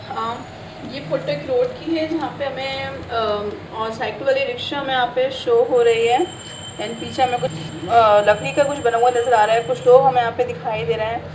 अ ये फोटो एक रोड की है जहाँ पर हमें अ साइकल वाली रिक्शा में यहाँ पे शो हो रही है एण्ड पीछे हमें कुछ अ लकड़ी का कुछ बना हुआ नज़र आ रहा है कुछ लोग हमें यहाँ पे दिखाई दे रहे हैं।